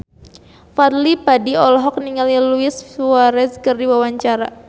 Fadly Padi olohok ningali Luis Suarez keur diwawancara